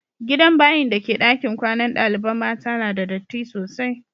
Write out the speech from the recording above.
Gidan bayin' da ke dakin kwanan dalibain mata na da datti sosai.